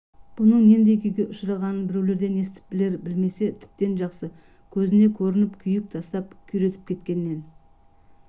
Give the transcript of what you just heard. бұның нендей күйге ұшырағанын біреулерден естіп білер білмесе тіптен жақсы көзіне көрініп күйік тастап күйретіп кеткеннен